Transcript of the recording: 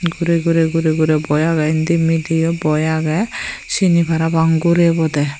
gure gure gure gure boi age indi midiyo boi age sini para pang gure baw dey.